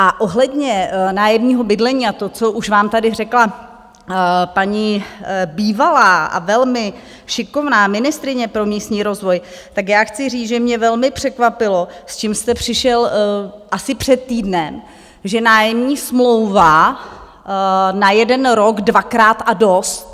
A ohledně nájemního bydlení a toho, co už vám tady řekla paní bývalá a velmi šikovná ministryně pro místní rozvoj, tak já chci říct, že mě velmi překvapilo, s čím jste přišel asi před týdnem, že nájemní smlouva na jeden rok dvakrát a dost.